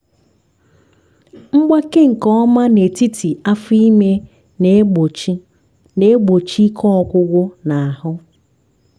mgbake nke ọma n'etiti afọ ime na-egbochi na-egbochi ike ọgwụgwụ n'ahụ.